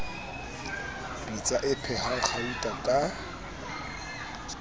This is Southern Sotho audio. pitsa e phehang gauta ka